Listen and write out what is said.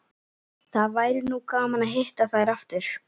Það væri nú gaman að hitta þær aftur